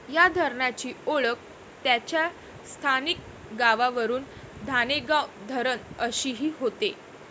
या धरणाची ओळख त्याच्या स्थानिक गावावरून धाणेगाव धरण अशीही होते